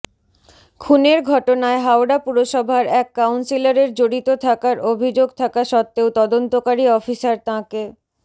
খুনের ঘটনায় হাওড়া পুরসভার এক কাউন্সিলরের জড়িত থাকার অভিযোগ থাকা সত্ত্বেও তদন্তকারী অফিসার তাঁকে